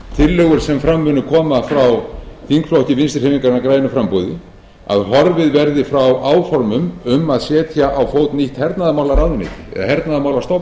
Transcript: tillögur sem fram munu koma frá þingflokki vinstri hreyfingarinnar grænu framboði að horfið verði frá áformum um að setja á fót nýtt hernaðarmálaráðuneyti eða hernaðarmálastofnun ætlar